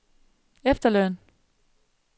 efterløn